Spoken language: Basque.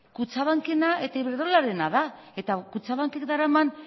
kutxabankena eta iberdrolarena da eta kutxabankek daraman